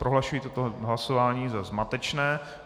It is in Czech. Prohlašuji toto hlasování za zmatečné.